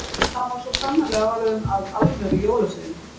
Hann var svo sannarlega orðinn að alvöru jólasveini.